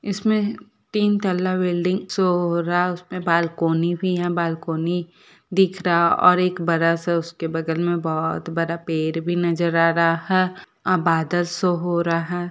इसमें तीन तल्ला बिल्डिंग शो हो रहा है उसमे बालकोनी भी है बालकोनी दिख रहा हैऔर एक बड़ा सा उसके बगल मे बहुत बड़ा पेड़ भी नजर आ रहा है अ बादल शो हो रहा है।